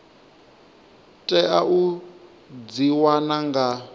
tea u dzi wana nga